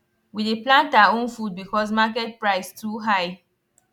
we dey plant our own food because market price too high